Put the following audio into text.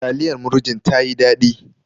Taliyar murjin tayi daɗi.